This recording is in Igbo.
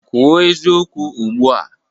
Kwuo eziokwu ugbu a!